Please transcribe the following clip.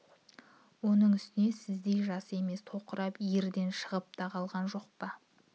оның үстіне сіздей жас емес тоқырап ерден шығып та қалған жоқ па